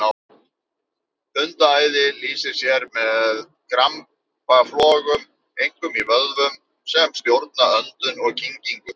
Hundaæði lýsir sér með krampaflogum, einkum í vöðvum sem stjórna öndun og kyngingu.